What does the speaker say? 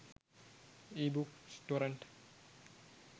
ebooks torrent